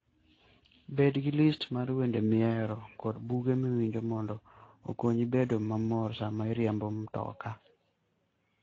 Bed gi list mar wende mihero kod buge miwinjo mondo okonyi bedo mamor sama iriembo mtoka.